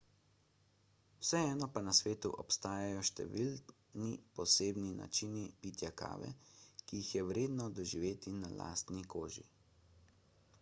vseeno pa na svetu obstajajo številni posebni načini pitja kave ki jih je vredno doživeti na lastni koži